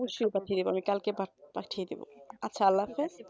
অবশ্যই পাঠিয়ে দেবো আমি কালকে পাঠিয়ে দিবো। আল্লাহ হাফেজ,